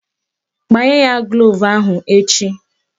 Gbanye ya gloovu ahụ echi!